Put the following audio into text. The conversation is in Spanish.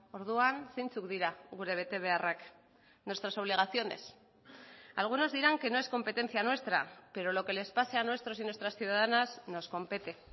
orduan zeintzuk dira gure betebeharrak nuestras obligaciones algunos dirán que no es competencia nuestra pero lo que les pase a nuestros y nuestras ciudadanas nos compete